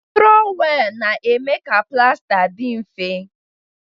Trowelu na-eme ka plasta dị mfe.